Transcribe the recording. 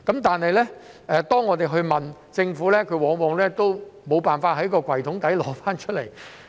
但是，當我們問政府，它往往都無法在抽屉底找出來。